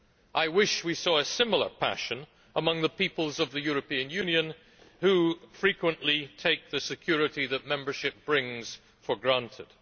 I wish we saw a similar passion among the peoples of the European Union, who frequently take the security that membership brings for granted.